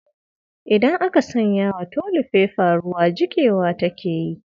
idan aka sanya wa tolifefa ruwa jikewa take yi.